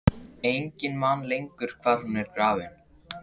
Enginn man lengur hvar hún er grafin.